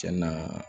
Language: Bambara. Cɛn na